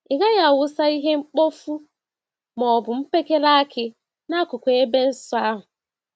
Ị gaghị awụsa ihe mkpofu ma ọ bụ mkpekele akị n'akụkụ ebe nsọ ahụ.